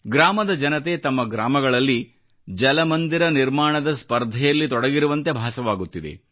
ಗ್ರಾಮದ ಜನತೆ ತಮ್ಮ ಗ್ರಾಮಗಳಲ್ಲಿ ಜಲಮಂದಿರ ನಿರ್ಮಾಣದ ಸ್ಪರ್ದೆಯಲ್ಲಿ ತೊಡಗಿರುವಂತೆ ಭಾಸವಾಗುತ್ತಿದೆ